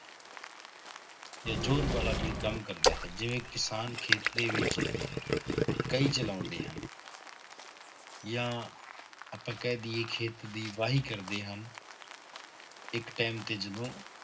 ਜਾਂ ਜ਼ੋਰ ਵਾਲਾ ਕੋਈ ਕੰਮ ਕਰਦਾ ਹੈ ਜਿਵੇਂ ਕਿਸਾਨ ਖੇਤ ਦੇ ਵਿੱਚ ਕਹੀ ਚਲਾਉਂਦੇ ਹਨ ਜਾਂ ਆਪਾਂ ਕਹਿ ਦੇਈਏ ਖੇਤ ਦੀ ਵਾਹੀ ਕਰਦੇ ਹਨ ਇੱਕ time ਤੇ ਜਦੋਂ